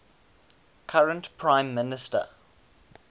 current prime minister